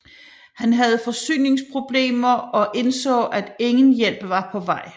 Han havde forsyningsproblemer og indså at ingen hjælp var på vej